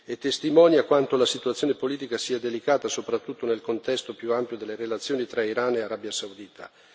e testimonia quanto la situazione politica sia delicata, soprattutto nel contesto più ampio delle relazioni tra Iran e Arabia Saudita.